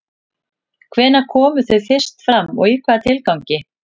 Hvenær komu þau fyrst fram og í hvaða tilgangi?